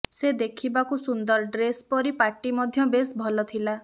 ସେ ଦେଖିବାକୁ ସୁନ୍ଦର ଡ୍ରେସ ପରିପାଟି ମଧ୍ୟ ବେଶ ଭଲଥିଲା